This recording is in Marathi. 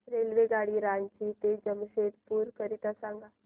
रेल्वेगाडी रांची ते जमशेदपूर करीता सांगा